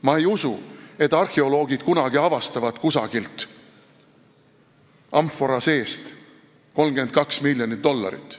Ma ei usu, et arheoloogid kunagi avastavad kusagilt amfora seest 32 miljonit dollarit.